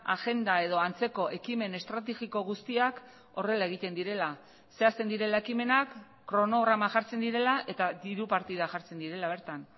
agenda edo antzeko ekimen estrategiko guztiak horrela egiten direla zehazten direla ekimenak kronograma jartzen direla eta diru partida jartzen direla bertan